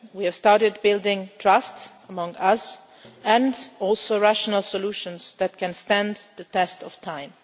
step. We have started building trust between us and also rational solutions that can stand the test of